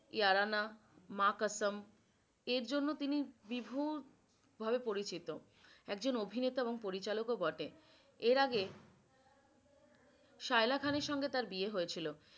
इयारियामां कसम এর জন্য তিনি ভিভুদ ভাবে পরিচিত একজন অভিনেতা ও পরিচালক ও বটে। এর আগে শায়লা খানের সঙ্গে তার বিয়ে হয়েছিল।